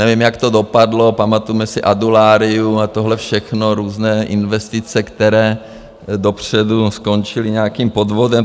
Nevím, jak to dopadlo, pamatujeme si Adularyu a tohle všechno, různé investice, které dopředu skončily nějakým podvodem.